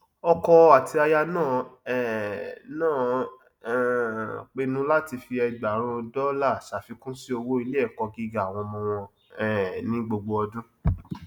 ọkọ àti aya náà um náà um pinnu láti fi ẹgbàárún dọlà ṣàfikún sí owó iléẹkọ gíga àwọn ọmọ wọn um ní gbogbo ọdún